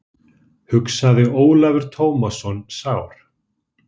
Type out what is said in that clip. hugsaði Ólafur Tómasson sár.